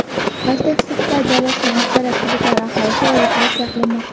Pasttekislikda joylashgan aksariyat hududlar aholisi evakuatsiya qilinmoqda.